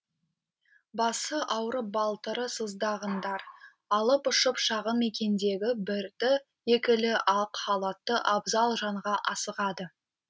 басы ауырып балтыры сыздағандар алып ұшып шағын мекендегі бірді екілі ақ халатты абзал жанға асығады